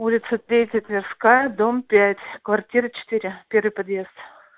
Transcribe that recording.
улица третья тверская дом пять квартира четыре первый подъезд